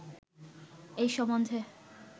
এই সম্বন্ধে